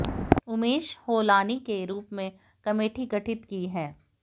उमेश होलानी के रूप में कमेटी गठित की है